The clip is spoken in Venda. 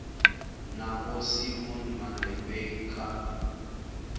na vho simon malepeng kha